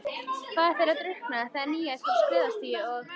Faðir þeirra drukknaði þegar Níels var á skriðstigi og